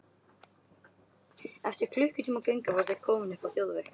Eftir klukkutíma göngu voru þau komin upp á þjóðveg.